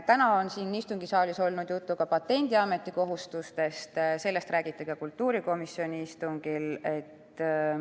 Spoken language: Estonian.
Täna on siin istungisaalis juttu olnud Patendiameti kohustustest, sellest räägiti ka kultuurikomisjoni istungil.